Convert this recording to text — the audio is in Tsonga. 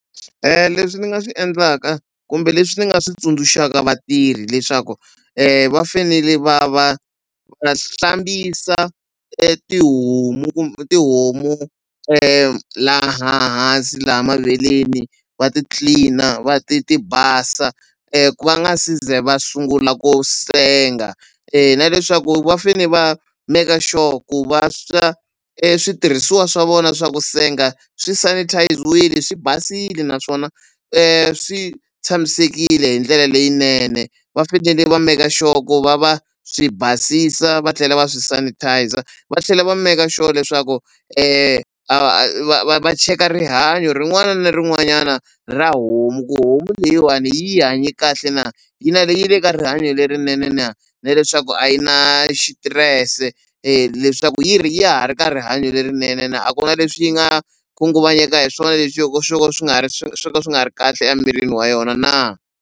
Leswi ni nga swi endlaka kumbe leswi ni nga swi tsundzuxaka vatirhi leswaku va fanele va va va hlambisa etihomu tihomu laha hansi la maveleni va ti-clean-a va ti ti basa ku va nga se za va sungula ku senga na leswaku va fane va maker sure ku va switirhisiwa swa vona swa ku senga swi sanitize-wile swi basile naswona swi tshamisekile hi ndlela leyinene va fanele va maker sure ku va va swi basisa va tlhela va swi sanitizer va tlhela va maker sure leswaku va va cheka rihanyo rin'wana na rin'wanyana ra homu ku homu leyiwani yi hanye kahle na yi na yi le ka rihanyo lerinene na na leswaku a yi na xitirese leswaku yi ri ya ha ri ka rihanyo lerinene na a ku na leswi yi nga khunguvanyeka hi swona leswi swo ka swi nga swo ka swi nga ri kahle emirini wa yona na.